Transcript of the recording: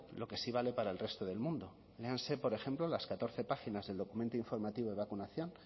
lo que sí vale para el resto del mundo léanse por ejemplo las catorce páginas del documento informativo de vacunación